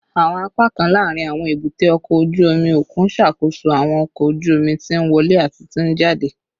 Awọn apakan laarin awọn ebute oko oju omi okun ṣakoso awọn ọkọ oju omi ti nwọle ati ti njade